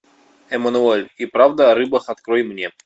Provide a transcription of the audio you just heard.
эмануэль и правда о рыбах открой мне